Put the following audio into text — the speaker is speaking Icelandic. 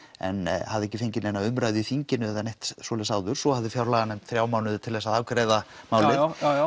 en hafði ekki fengið neina umræðu í þinginu eða neitt svoleiðis áður svo hafði fjárlaganefnd þrjá mánuði til þess að afgreiða málið